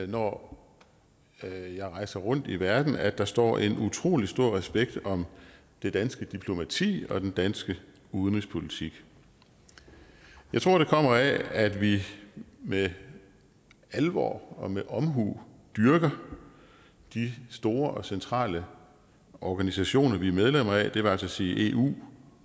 når jeg rejser rundt i verden at der står en utrolig stor respekt om det danske diplomati og den danske udenrigspolitik jeg tror det kommer af at vi med alvor og med omhu dyrker de store og centrale organisationer vi er medlem af det vil altså sige eu